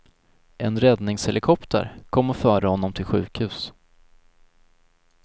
En räddningshelikopter kom och förde honom till sjukhus.